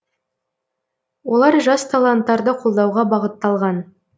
олар жас таланттарды қолдауға бағытталған